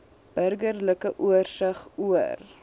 burgerlike oorsig oor